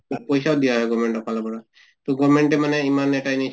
তাত পইছাও দিয়া হৈ গʼল গʼভমেন্টৰ ফালৰ পৰা, তʼ গʼভমেন্টে ইমান এটা